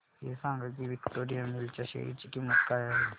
हे सांगा की विक्टोरिया मिल्स च्या शेअर ची किंमत काय आहे